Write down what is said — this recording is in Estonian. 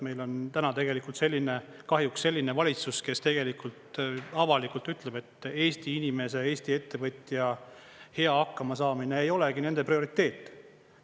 Meil on täna tegelikult kahjuks selline valitsus, kes tegelikult avalikult ütleb, et Eesti inimeste ja Eesti ettevõtja hea hakkamasaamine ei olegi nende prioriteet.